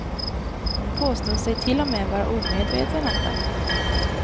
Hon påstår sig till och med vara omedveten om den.